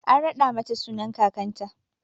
An raɗa mata sunan kakanta.